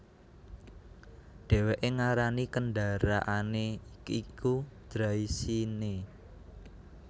Dhèwèké ngarani kendaraané iku Draisienne